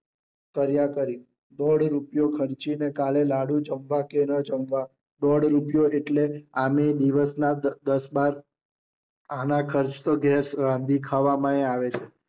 કર્યા કરી. દોઢ રૂપિયો ખર્ચી ને કાલે લાડુ જમવા કે ન જમવા. દોઢ રૂપિયો એટલે આમય દિવસ ના દ દસ બાર આના ખર્ચ તો ગેસ રાંધી ખાવામાંય આવે છે.